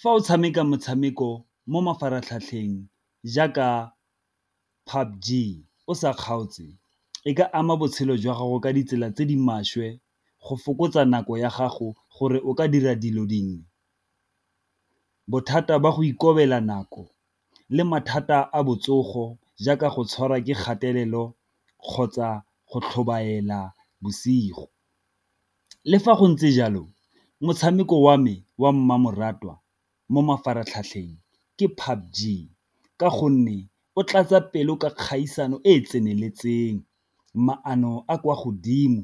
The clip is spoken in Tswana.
Fa o tshameka motshameko mo mafaratlhatlheng jaaka o sa kgaotse e ka ama botshelo jwa gago ka ditsela tse di maswe, go fokotsa nako ya gago gore o ka dira dilo dingwe. Bothata ba go ikobela nako le mathata a botsogo jaaka go tshwarwa ke kgatelelo kgotsa go tlhobaela bosigo, le fa go ntse jalo motshameko wa me wa mmamoratwa mo mafaratlhatlheng ke ka gonne o tlatsa pelo ka kgaisano e e tseneletseng, maano a kwa godimo,